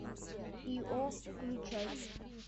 ио включай